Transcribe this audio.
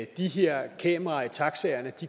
de her kameraer i taxaerne